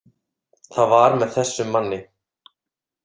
Það var með þessum manni.